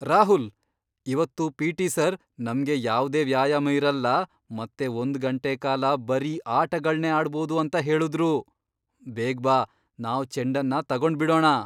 ರಾಹುಲ್! ಇವತ್ತು PT sir ನಮ್ಗೆ ಯಾವ್ದೇ ವ್ಯಾಯಾಮ ಇರಲ್ಲ ಮತ್ತೆ ಒಂದ್ ಗಂಟೆ ಕಾಲ ಬರೀ ಆಟಗಳ್ನೇ ಆಡ್ಬೋದು ಅಂತ ಹೇಳುದ್ರು! ಬೇಗ್ ಬಾ, ನಾವ್ ಚೆಂಡನ್ನ ತಗೊಂಡ್ಬಿಡೋಣ!